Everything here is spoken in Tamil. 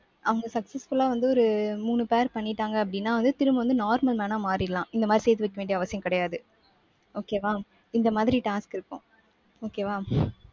அவங்க successful ஆ வந்து ஒரு மூணு pair பண்ணிட்டாங்க அப்படீன்னா வந்து திரும்ப வந்து normal man ஆ மாறிடலாம். இந்த மாதிரி சேர்த்து வைக்க வேண்டிய அவசியம் கிடையாது. okay வா. இந்த மாதிரி task இருக்கும். okay வா